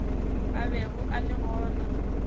a bego a le gona